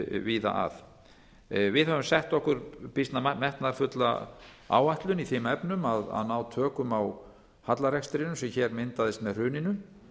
víða að við höfum sett okkur býsna metnaðarfulla áætlun í þeim efnum að ná tökum á hallarekstrinum sem hér myndaðist með hruninu